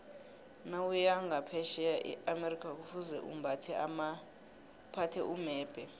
nawuya nqaphetjheya eamerica kufuze uphathe umebhe